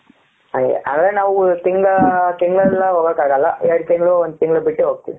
ಹಂಗೆ ಅಂದ್ರೆ ನಾವು ತಿಂಗಳ ತಿಂಗಳಲ್ಲ ಹೋಗಕ್ಕಾಗಲ್ಲ ಎರಡು ತಿಂಗಳು ಒಂದು ತಿಂಗಳು ಬಿಟ್ಟು ಹೋಗ್ತೀವಿ.